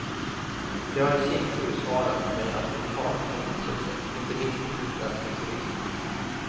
De har i sin tur svarat med attentat och hotelser, inte minst mot utländska turister.